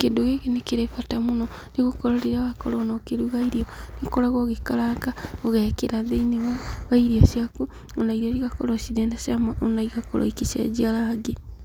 Kĩndũ gĩkĩ nĩ kĩrĩ bata mũno nĩgũkorwo rĩrĩa wakorwo ona ũkĩruga irio, nĩũkoragwo ũgĩkaranga ũgekĩra thĩinĩ wairio ciaku, ona irio igakorwo cirĩ na cama na igakorwo igĩcenjia rangi.